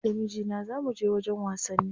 Ni da mijina za muje wajen wasanni.